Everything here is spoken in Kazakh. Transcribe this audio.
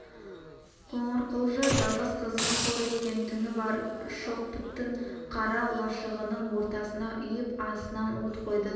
қоңырқұлжа жалғыз қызын қор еткен түні бар шоқпытын қара лашығының ортасына үйіп астынан от қойды да